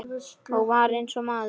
Og var eins og maður.